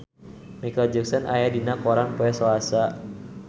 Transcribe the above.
Micheal Jackson aya dina koran poe Salasa